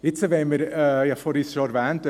Ich habe es vorhin schon erwähnt: